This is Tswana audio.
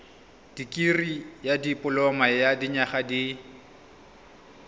dikirii dipoloma ya dinyaga di